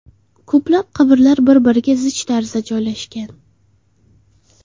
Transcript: Ko‘plab qabrlar bir-biriga zich tarzda joylashgan.